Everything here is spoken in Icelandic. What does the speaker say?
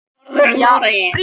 """Já, hugsa sér!"""